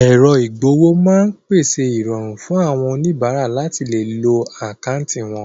Èrọ ìgb'owó máa ń pèsè ìrọ̀rùn fún àwọn oníbàárà láti lè lo àkáńtì wọn